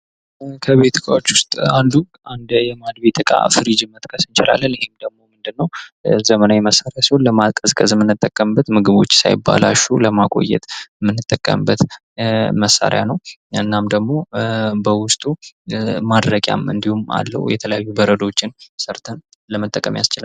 ከቤት እቃዎች ውስጥ አንዱ አንዴ የማድቤት እቃ ፍሪጅን መጥቀስ እንችላለን ይህ ደግሞ ምንድን ነው ዘመናዊ መሳሪያ ሲሆን ለማቀዝቀዝ ምንጠቀበት ምግቦች ሳይበላሹ ለማቆየት ምንጠቀምበት መሳሪያ ነው ። እናም ደግሞ በውስጡ ማድረቂያም እንዲሁም አለው የተለያዩ በረዶዎችን ሰርተን ለመጠቀም ያስችላል ።